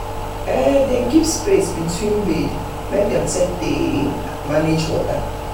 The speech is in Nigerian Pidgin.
dem keep um space um between bed make dem take am dem manage um water.